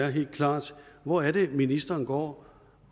helt klart hvor er det ministeren går